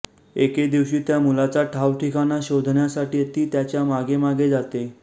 एके दिवशी त्या मुलाचा ठावठिकाणा शोधण्यासाठी ती त्याच्या मागेमागे जाते